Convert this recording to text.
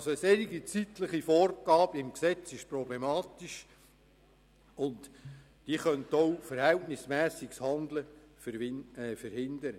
Eine zeitliche Vorgabe im Gesetz ist also problematisch und könnte verhältnismässiges Handeln verhindern.